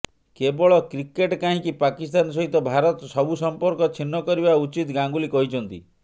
କେବଳ କ୍ରିକେଟ କାହିଁକି ପାକିସ୍ତାନ ସହିତ ଭାରତ ସବୁ ସମ୍ପର୍କ ଛିନ୍ନ କରିବା ଉଚିତ୍ ଗାଙ୍ଗୁଲି କହିଛନ୍ତି